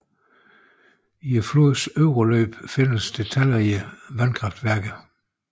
I flodens øvre løb findes der talrige vandkraftværker